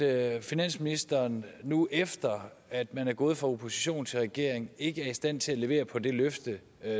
at finansministeren nu efter at man er gået fra opposition til regering ikke er i stand til at levere på det løfte